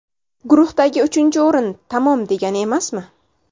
Guruhdagi uchinchi o‘rin tamom degani emasmi?